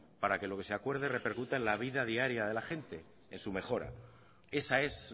para que lo que se acuerde repercuta en la vida diaria de la gente en su mejora esa es